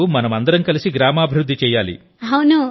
ఇప్పుడు మనమందరం కలిసి గ్రామాభివృద్ధి చేయాలి